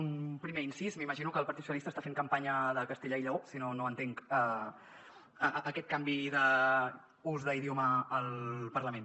un primer incís m’imagino que el partit socialista està fent campanya de castella i lleó si no no entenc aquest canvi d’ús d’idioma al parlament